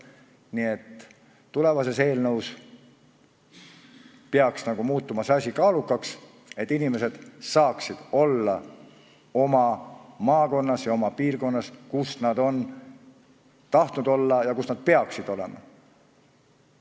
Nii et tulevases eelnõus peaks muutuma kaalukaks asjaks see, et inimesed saaksid olla oma maakonnas ja oma piirkonnas, kus nad on tahtnud olla ja kus nad peaksid olema.